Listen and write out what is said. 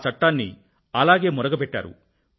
ఆ చట్టాన్ని అలానే మురగబెట్టారు